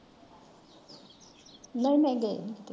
ਨਹੀਂ ਨਹੀਂ ਵੇਚਦੇ।